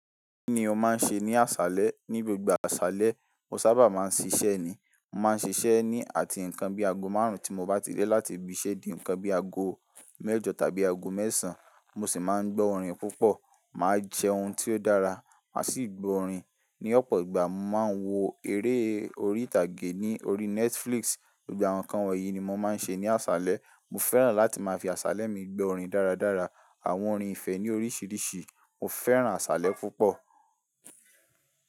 Kí ni o máa ń ṣe ní àṣálẹ́? Ní gbogbo àṣálẹ́, mo sábà máa ń ṣíṣẹ́ ni. Mo máa ń ṣiṣẹ́ ni àti nǹkan bí ago márùn-ún tí mo bá ti dé láti ibi isé di ǹkan bí ago mẹ́jọ tàbí ago mẹ́sàn. Mo sì máa ń gbọ́ orin púpọ̀, màá jẹ ohun tí ó dára, màá sì gbọ́ orin. Ní ọ̀pọ̀ ìgbà, mo máa ń wo eré orí ìtàgé ní orí Netflix. Gbogbo àwọn ǹkan wọ̀nyí ni mo máa ń ṣe ní àṣálẹ́. Mo fẹ́ràn láti máa fi àṣálẹ́ mi gbọ́ orin dáradára. Àwọn orin ìfẹ́ ní oríṣiríṣi. Mo fẹ́ràn àṣálẹ́ púpọ̀